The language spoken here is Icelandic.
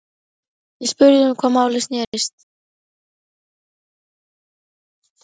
Ég spurði um hvað málið snerist.